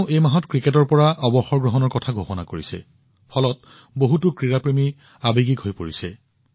তেওঁ এই মাহত ক্ৰিকেটৰ পৰা অৱসৰ ঘোষণা কৰিছে যাৰ ফলত বহুতো ক্ৰীড়া প্ৰেমী আৱেগিক হৈ পৰিছে